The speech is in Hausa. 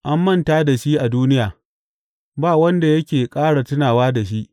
An manta da shi a duniya; ba wanda yake ƙara tunawa da shi.